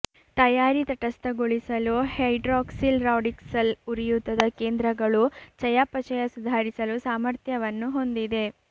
ತಯಾರಿ ತಟಸ್ಥಗೊಳಿಸಲು hydroxyl radicals ಉರಿಯೂತದ ಕೇಂದ್ರಗಳು ಚಯಾಪಚಯ ಸುಧಾರಿಸಲು ಸಾಮರ್ಥ್ಯವನ್ನು ಹೊಂದಿದೆ